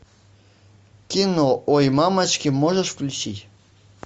кино ой мамочки можешь включить